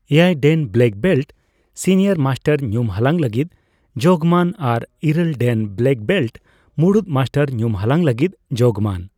ᱮᱭᱟᱭ dan black belt senior master ᱧᱩᱢᱦᱟᱞᱟᱝ ᱞᱟᱹᱜᱤᱫ ᱡᱚᱜᱽᱢᱟᱱ ᱟᱨ ᱤᱨᱟᱹᱞ ᱰᱮᱱ ᱵᱞᱮᱠ ᱵᱮᱞᱴ ᱢᱩᱲᱩᱫ ᱢᱟᱥᱴᱟᱨ ᱧᱩᱢᱦᱟᱞᱟᱝ ᱞᱟᱹᱜᱤᱫ ᱡᱚᱜᱽᱢᱟᱱ ᱾